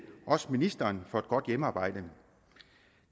også ministeren for et godt hjemmearbejde